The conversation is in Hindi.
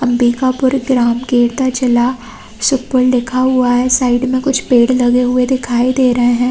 अम्बिकापुर ग्राम केरता जिला ऊपर लिखा हुआ है साइड में कुछ पेड़ लगे हुए दिखाई दे रहे है।